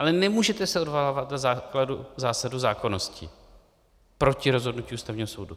Ale nemůžete se odvolávat na zásadu zákonnosti proti rozhodnutí Ústavního soudu.